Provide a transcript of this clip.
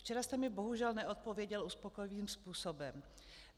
Včera jste mi bohužel neodpověděl uspokojivým způsobem.